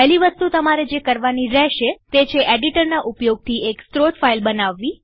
પહેલી વસ્તુ તમારે જે કરવાની રેહશે તે છે એડિટર ના ઉપયોગથી એક સ્ત્રોતસોર્સ ફાઈલ બનાવવી